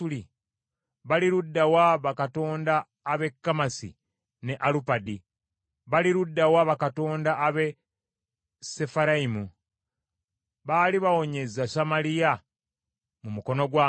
Bali ludda wa bakatonda ab’e Kamasi ne Alupadi? Bali ludda wa bakatonda ab’e Sefarayimu? Baali bawonyezza Samaliya mu mukono gwange?